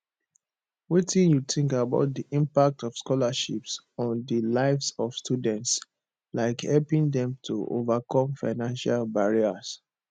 wetin you think about di impact of scholarships on di lives of students like helping dem to overcome financial barriers